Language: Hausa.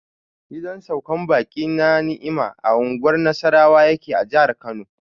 Gidan saukar baƙi na Ni'imah a unguwar Nasarawa yake a jihar Kano.